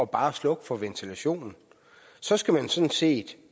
bare at slukke for ventilationen så skal man sådan set